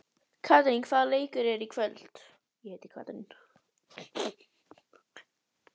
Katrín, hvaða leikir eru í kvöld?